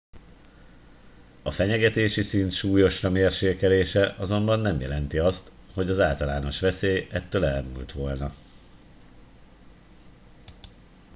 a fenyegetési szint súlyosra mérséklése azonban nem jelenti azt hogy az általános veszély ettől elmúlt volna